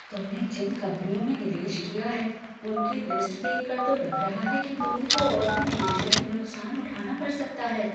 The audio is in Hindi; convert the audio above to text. तुमने जिन कंपनियों में निवेश किया है उनकी लिस्ट देखकर तो लग रहा है कि तुम्हें तो और भी निवेशों में नुकसान उठाना पड़ सकता है।